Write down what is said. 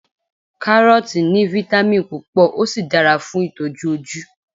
karọọti ni vitamin púpò o sí dára fún itoju oju